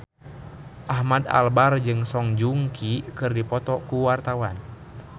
Ahmad Albar jeung Song Joong Ki keur dipoto ku wartawan